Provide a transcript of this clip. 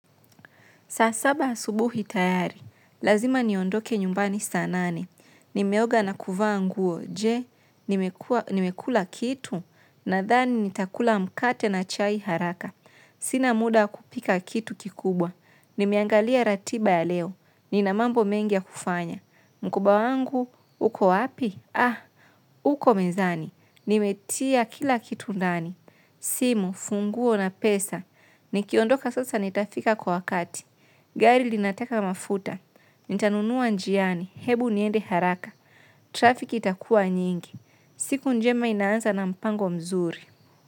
Saa saba asubuhi tayari, lazima niondoke nyumbani saa nane. Nimeoga na kuvaa nguo, je, nimekula kitu, nadhani nitakula mkate na chai haraka. Sina muda kupika kitu kikubwa. Nimeangalia ratiba ya leo, nina mambo mengi ya kufanya. Mkoba wangu, uko wapi? Aah uko mezani. Nimetia kila kitu ndani. Simu, funguo na pesa. Nikiondoka sasa nitafika kwa wakati. Gari linataka mafuta, nitanunua njiani, hebu niende haraka, trafik itakua nyingi, siku njema inaanza na mpango mzuri.